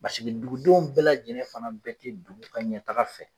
Paseke dugudenw bɛɛ lajɛnɛ fana bɛɛ tɛ dugu ka ɲɛtaaga fɛ.